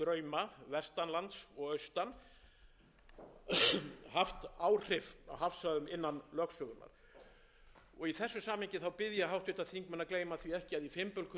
lands og austan haft áhrif á hafsvæðum innan lögsögunnar í þessu samhengi bið ég háttvirtir þingmenn að gleyma því ekki að í fimbulkulda